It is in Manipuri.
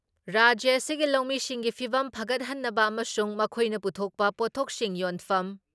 ꯔꯥꯖ꯭ꯌ ꯑꯁꯤꯒꯤ ꯂꯧꯃꯤꯁꯤꯡꯒꯤ ꯐꯤꯚꯝ ꯐꯒꯠꯍꯟꯅꯕ ꯑꯃꯁꯨꯡ ꯃꯈꯣꯏꯅ ꯄꯨꯊꯣꯛꯄ ꯄꯣꯠꯊꯣꯛꯁꯤꯡ ꯌꯣꯟꯐꯝ